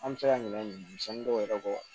An bɛ se ka ɲina dɔw yɛrɛ kɔ